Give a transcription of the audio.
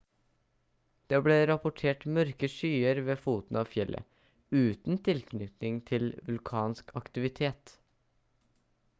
det ble rapportert mørke skyer ved foten av fjellet uten tilknytning til vulkansk aktivitet